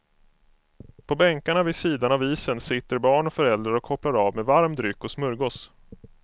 På bänkarna vid sidan av isen sitter barn och föräldrar och kopplar av med varm dryck och smörgås.